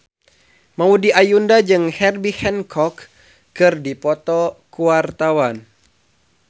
Maudy Ayunda jeung Herbie Hancock keur dipoto ku wartawan